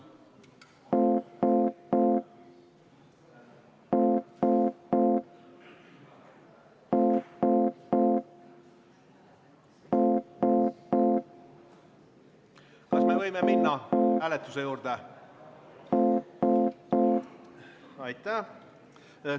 Kas me võime minna hääletuse juurde?